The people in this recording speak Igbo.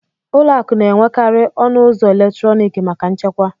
ụlọ akụ na-enwekarị ọnụ ụzọ eletrọnịkị maka nchekwa